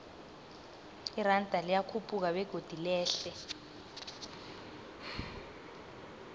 iranda liyakhuphuka begodu lehle